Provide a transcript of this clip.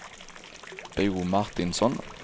Bo Martinsson